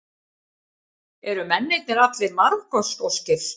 Eru mennirnir allir Marokkóskir